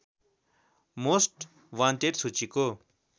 most wanted सूचीको